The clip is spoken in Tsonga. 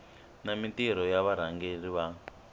na mintirho ya varhangeri va